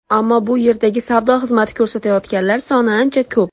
Ammo bu yerdagi savdo xizmati ko‘rsatayotganlar soni ancha ko‘p.